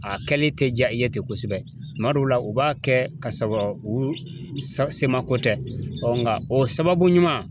A kɛli tɛ diya i ye ten kosɛbɛ, tuma dɔw la u b'a kɛ ka sɔrɔ u se ma ko tɛ nka o sababu ɲuman